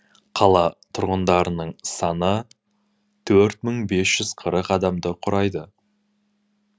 қала тұрғындарының саны төрт мың бес жүз қырық адамды құрайды